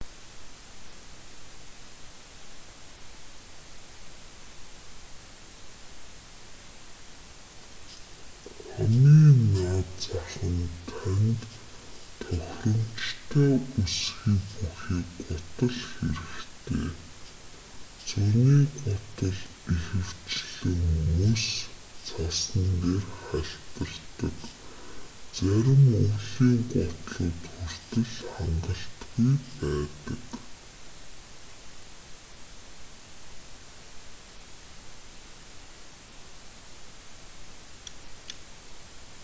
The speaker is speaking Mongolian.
хамгийн наад зах нь танд тохиромжтой өсгий бүхий гутал хэрэгтэй зуны гутал ихэвчлэн мөс цасан дээр хальтардаг зарим өвлийн гутлууд хүртэл хангалтгүй байдаг